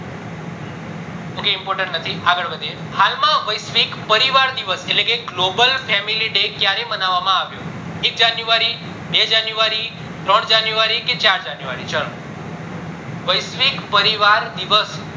ok એ important નથી આગળ વધીએ હાલ માં વૈશ્વિક પરિવાર ની એટલે કે global family day ક્યારે માનવામાં આવ્યો એક january, બે january ત્રણ january કે ચાર january ચલો વૈશ્વિક પરિવાર દિવસ